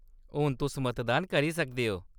हून तुस मतदान करी सकदे ओ।